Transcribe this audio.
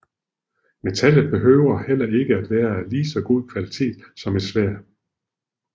Metallet behøvede heller ikke være af lige så godt kvalitet som et sværd